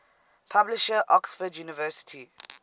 publisher oxford university